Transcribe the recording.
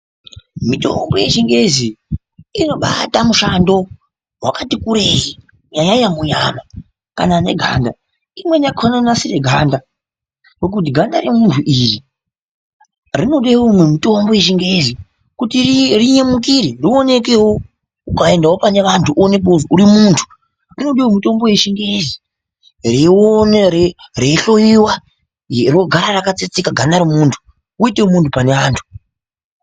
Mitombo yechingezi inobata mushando wakati kurei kunyanyanyanya munyama kana neganda imweni yakona inonasire ganda kuti ganda remuntu iri rinode umwe mutombo yechingezi kuri rinyemukire rionekewo ukaendawo pane vantu uonekewo kuti uri muntu rinodawo mitombo yechingezi reihloyiwa rogara rakatsetseka ganda remuntu uitewo muntu pane antu.